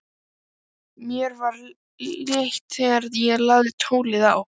Mér var létt þegar ég lagði tólið á.